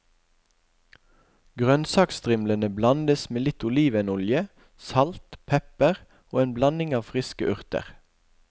Grønnsakstrimlene blandes med litt olivenolje, salt, pepper og en blanding av friske urter.